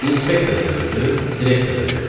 İnspektor da güldü, direktor da güldü.